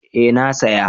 Eh na saya